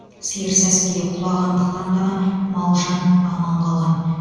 сиыр сәскеде құлағандықтан ғана мал жан аман қалған